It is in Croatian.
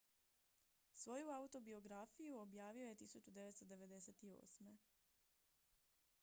svoju autobiografiju objavio je 1998